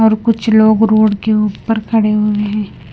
और कुछ लोग रोड के ऊपर खड़े हुए हैं।